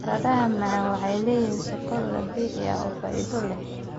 Baradhada macaan waxay leeyihiin sokor dabiici ah oo faa'iido leh.